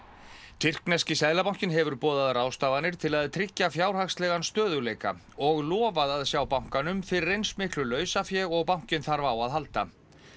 tyrkneski seðlabankinn hefur boðað ráðstafanir til að tryggja fjárhagslegan stöðugleika og lofað að sjá bankanum fyrir eins miklu lausafé og bankinn þarf á að halda